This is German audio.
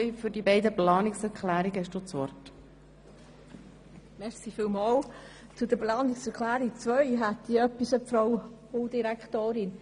Zu Planungserklärung 2 habe ich noch eine Bemerkung an Regierungsrätin Egger.